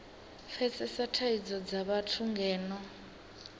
pfesesa thadzo dza vhathu ngeno